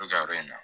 U bɛ ka yɔrɔ in na